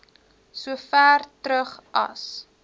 sover terug as